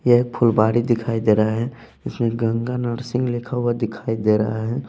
यह फुलबाड़ी दिखाई दे रहा है इसमें गंगा नरसिंह लिखा हुआ दिखाई दे रहा है।